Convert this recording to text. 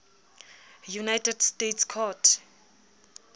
united states court